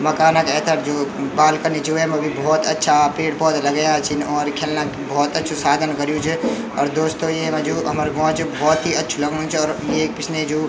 मकाना क ऐथर जू बालकनी च वैमा भी भौत अच्छा पेड़ पौधा लगया छिन और खएलना क भौत अच्छु साधन कर्युं च अर दोस्तों येमा जू हमर गौं च भौत ही अच्छु लगणु च अर येक पिछने जू --